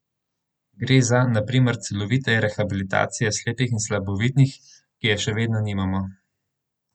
Gre za na primer celovite rehabilitacije slepih in slabovidnih, ki je še vedno nimamo.